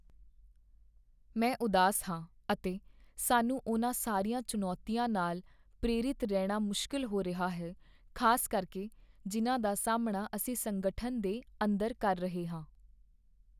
ਮੈਂ ਉਦਾਸ ਹਾਂ ਅਤੇ ਸਾਨੂੰ ਉਹਨਾਂ ਸਾਰੀਆਂ ਚੁਣੌਤੀਆਂ ਨਾਲ ਪ੍ਰੇਰਿਤ ਰਹਿਣਾ ਮੁਸ਼ਕਲ ਹੋ ਰਿਹਾ ਹੈ, ਖ਼ਾਸ ਕਰਕੇ ਜਿਨ੍ਹਾਂ ਦਾ ਸਾਹਮਣਾ ਅਸੀਂ ਸੰਗਠਨ ਦੇ ਅੰਦਰ ਕਰ ਰਹੇ ਹਾਂ।